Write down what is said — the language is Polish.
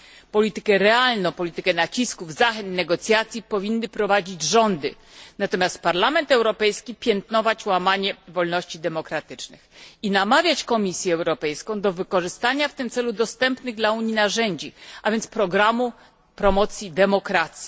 Politykę realną, politykę nacisków, zachęt, negocjacji powinny prowadzić rządy, natomiast Parlament Europejski piętnować łamanie wolności demokratycznych i namawiać Komisję Europejską do wykorzystania w tym celu dostępnych dla Unii narzędzi, a więc programu promocji demokracji.